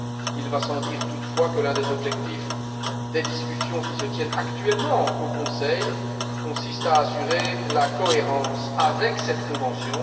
Il va sans dire toutefois que l'un des objectifs des discussions qui se tiennent actuellement au Conseil consiste à assurer la cohérence avec cette convention.